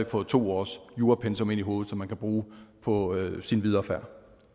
fået to års jurapensum ind i hovedet som man kan bruge på sin videre færd